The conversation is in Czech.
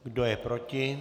Kdo je proti?